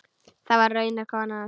Það var raunar konan hans.